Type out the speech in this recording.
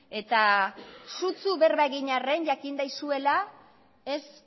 eta sutsu berba egin arren jakin dezazuela ez